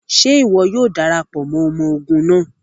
Ṣe iwọ yoo darapọ mọ ọmọ ogun naa?